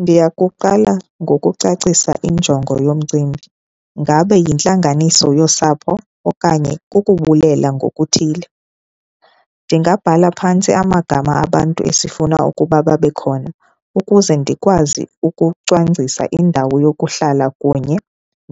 Ndiyakuqala ngokucacisa injongo yomcimbi, ngabe yintlanganiso yosapho okanye kukubulela ngokuthile. Ndingabhala phantsi amagama abantu esifuna ukuba babe khona ukuze ndikwazi ukucwangcisa indawo yokuhlala kunye